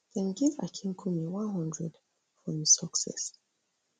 dem give akinkunmi one hundred for im success